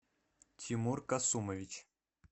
тимур касумович